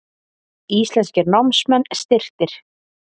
Íslenskir námsmenn styrktir